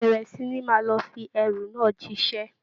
Bẹ̀rẹ̀ sí ní máa lọ fi ẹrù náà jíṣẹ́